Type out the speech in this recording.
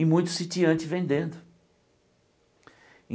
E muitos sitiantes vendendo.